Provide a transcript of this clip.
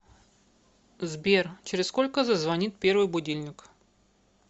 сбер через сколько зазвонит первый будильник